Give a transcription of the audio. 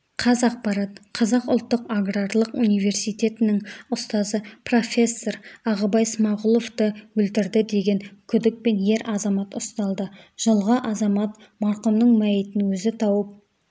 қазақпарат қазақ ұлттық аграрлық университетінің ұстазы профессор ағыбай смағұловты өлтірді деген күдікпен ер азамат ұсталды жылғы азамат марқұмның мәйітін өзі тауып